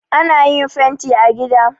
Ana yin fanti a gida